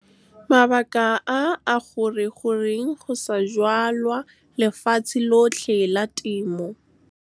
Mabaka a a gore goreng go sa jalwa lefatshe lotlhe la temo? Mabaka a a gore goreng go sa jalwa lefatshe lotlhe la temo?